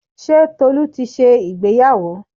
Ṣé Tolu ti ṣe ìgbéyàwó?